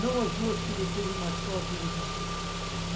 Não as duas que ele teve, mas só a que eles não têm. E